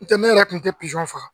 N tɛ ne yɛrɛ kun tɛ pizɔn faga